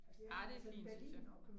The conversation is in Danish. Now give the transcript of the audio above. Ah det er fint synes jeg